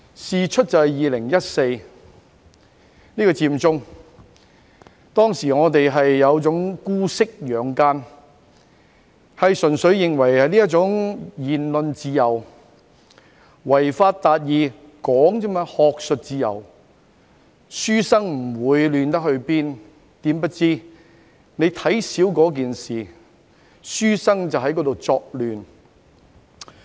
事因在2014年的佔中事件中，我們有點姑息養奸，認為純粹事關言論自由，違法達義亦只是提出意見，在學術自由下的書生不會亂成怎樣。